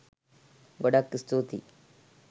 ගොඩාක් ස්තුතියි